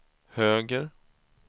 höger